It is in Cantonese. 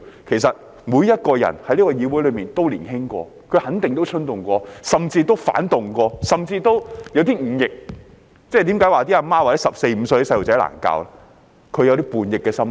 其實，這個議會內每個人都年輕過，也肯定衝動過，甚至反動過，甚至有點忤逆，因此當母親的才會說十四五歲的孩子難以教導，因為他們有叛逆的心態。